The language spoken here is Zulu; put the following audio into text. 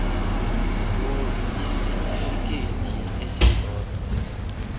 ngur kwisitifikedi esisodwa